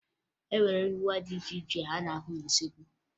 E nwere ngwa dị iche iche a na-ahụ n'usoekwu